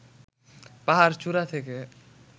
পাহাড় চূড়া থেকে